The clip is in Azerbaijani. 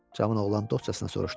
Cavan oğlan dostcasına soruşdu.